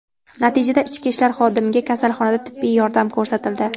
Natijada ichki ishlar xodimiga kasalxonada tibbiy yordam ko‘rsatildi.